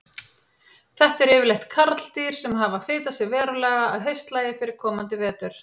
Þetta eru yfirleitt karldýr sem hafa fitað sig verulega að haustlagi fyrir komandi vetur.